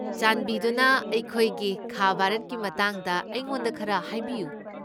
ꯆꯥꯟꯕꯤꯗꯨꯅ ꯑꯩꯈꯣꯏꯒꯤ ꯈꯥ ꯚꯥꯔꯠꯀꯤ ꯃꯇꯥꯡꯗ ꯑꯩꯉꯣꯟꯗ ꯈꯔ ꯍꯥꯏꯕꯤꯌꯨ꯫